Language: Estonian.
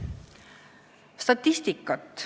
Natuke statistikat.